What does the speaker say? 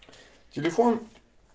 телефон